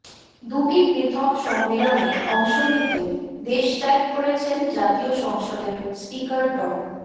দুটি পৃথক সম্মেলনে অংশ নিতে দেশত্যাগ করেছেন জাতীয় সংসদের স্পিকার ড